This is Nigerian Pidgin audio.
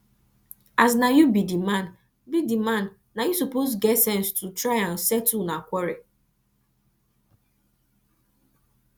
as na you be the man be the man na you suppose get sense to try and settle una quarrel